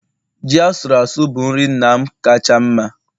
Ji asuru asụ bụ nri nna m kacha mma